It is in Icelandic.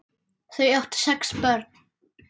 Þau áttu sex börn.